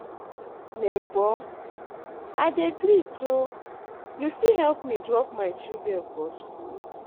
Nebor, I dey greet o, you fit help me drop my children for skool?